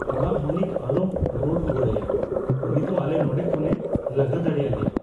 ᱚᱲᱟᱜ ᱢᱟᱹᱞᱤᱠ ᱟᱞᱚᱢ ᱨᱚᱲ ᱨᱩᱣᱟᱹᱲᱟᱭᱟ ᱾ ᱩᱱᱤ ᱫᱚ ᱟᱞᱮ ᱱᱚᱸᱰᱮ ᱠᱷᱚᱱᱮ ᱞᱟᱜᱟ ᱫᱟᱲᱮᱭᱟᱞᱮᱭᱟ ᱾